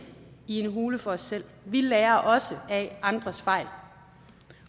i en hule for os selv vi lærer også af andres fejl